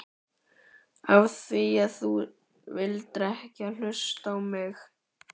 Af því að þú vildir ekki hlusta á mig!